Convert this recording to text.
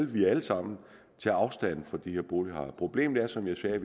vi alle sammen tager afstand fra de her bolighajer problemet er som jeg sagde at